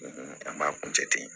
An b'a kun jate